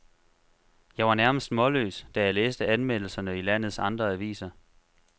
Jeg var nærmest målløst, da jeg læste anmeldelserne i landets andre aviser.